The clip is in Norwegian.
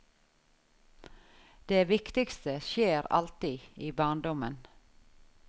Det viktigste skjer alltid i barndommen.